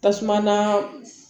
Tasuma na